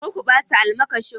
Kar ku bata almakashin!